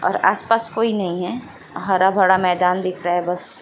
और आस-पास कोई नहीं है हरा-भरा मैदान दिख रहा है बस।